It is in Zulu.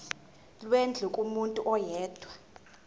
lwendlu kumuntu oyedwa